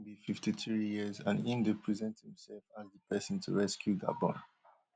im be fifty-three years and im dey present imsef as di pesin to rescue gabon